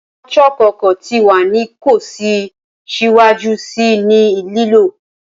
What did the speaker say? Awọn chalk ọkọ ti wa ni ko si siwaju sii ni lilo